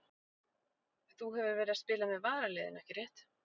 Þú hefur verið að spila með varaliðinu ekki rétt?